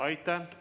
Aitäh!